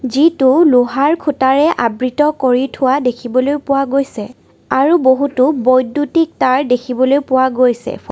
যিটো লোহাৰ খুঁটাৰে আবৃত কৰি থোৱা দেখিবলৈ পোৱা গৈছে আৰু বহুতো বৈদ্যুতিক তাঁৰ দেখিবলৈ পোৱা গৈছে ফাঁ--